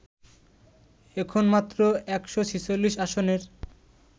এখন মাত্র ১৪৬ আসনের